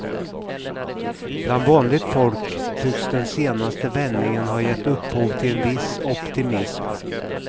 Bland vanligt folk tycks den senaste vändningen har gett upphov till en viss optimism.